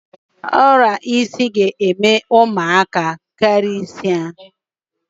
Ọrịa isi na-eme ụmụaka karịsịa.